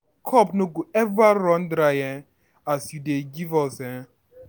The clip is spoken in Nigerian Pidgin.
cup no go eva run dry um as you dey give us um